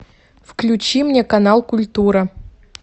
включи мне канал культура